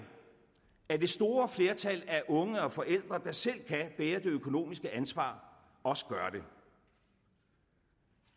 at det store flertal af unge og forældre der selv kan bære det økonomiske ansvar også gør det